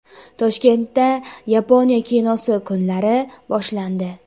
Toshkentda Yaponiya kinosi kunlari boshlandi.